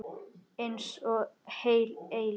Einsog heil eilífð.